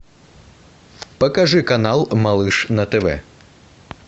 покажи канал малыш на тв